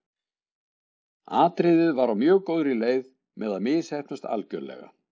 Atriðið var á mjög góðri leið með að misheppnast algjörlega.